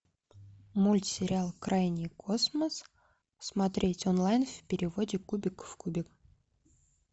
мультсериал крайний космос смотреть онлайн в переводе кубик в кубе